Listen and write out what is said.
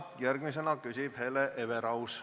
Järgmisena küsib Hele Everaus.